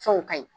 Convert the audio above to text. Fɛnw ka ɲi